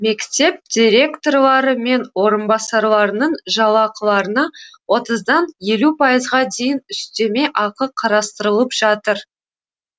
мектеп директорлары мен орынбасарларының жалақыларына отыздан елу пайызға дейін үстеме ақы қарастырылып жатыр